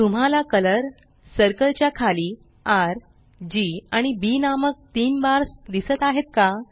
तुम्हाला colour circle च्या खाली र जी आणि बी नामक तीन बार्स दिसत आहेत का